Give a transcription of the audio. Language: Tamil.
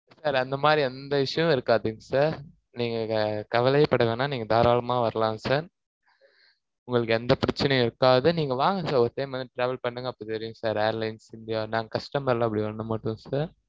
sir அந்த மாதிரி, எந்த issue ம் இருக்காதுங்க sir நீங்க கவலையே பட வேணாம். நீங்க தாராளமா வரலாம் sir உங்களுக்கு எந்த பிரச்சனையும் இருக்காது. நீங்க வாங்க sir ஒரு time வந்து travel பண்ணுங்க. அப்ப தெரியும் sir airlines india நாங்க customer ல அப்படி பண்ண மாட்டோம் sir